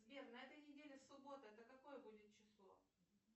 сбер на этой неделе суббота это какое будет число